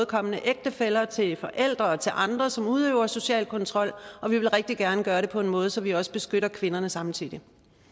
kommende ægtefæller til forældre og til andre som udøver social kontrol og vi vil rigtig gerne gøre det på en måde så vi også beskytter kvinderne samtidig